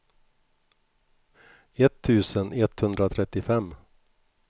etttusen etthundratrettiofem